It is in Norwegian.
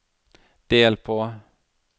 del på